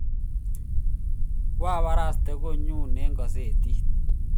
kwabarastee konyuu eng kasetit